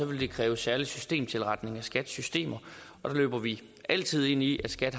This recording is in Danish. vil kræve særlig systemtilretning af skats systemer og så løber vi altid ind i at skat